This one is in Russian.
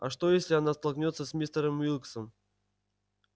а что если она столкнётся с мистером уилксом